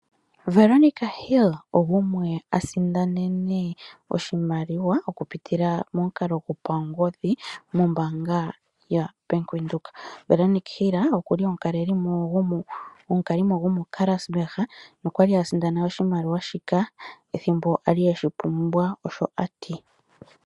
Veronica Hill ogumwe a sindanene oshimaliwa okupitila momukalo gopangodhi, mombaanga ya Bank Windhoek. Veronica Hill okuli omukalimo gomo Karasburg, nokwali a sindana oshimaliwa shika ethimbo ali eshi pumbwa, osho ati.